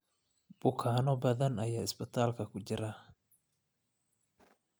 Bukaanno badan ayaa isbitaalka ku jira